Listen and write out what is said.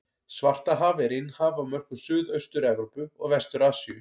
Svartahaf er innhaf á mörkum Suðaustur-Evrópu og Vestur-Asíu.